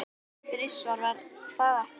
Þrisvar, var það ekki?